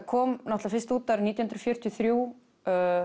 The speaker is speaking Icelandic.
kom fyrst út árið nítján hundruð fjörutíu og þrjú